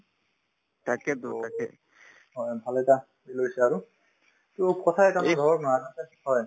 to অ ভাল এটা হেৰি লৈছে আৰু to কথা এটা ভাবক না হয়